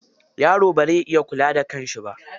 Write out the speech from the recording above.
Yaro bazai iya kula da kan shi ba.